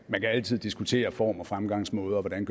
man kan altid diskutere form og fremgangsmåde og hvordan